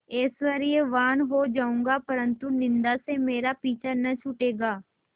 ऐश्वर्यवान् हो जाऊँगा परन्तु निन्दा से मेरा पीछा न छूटेगा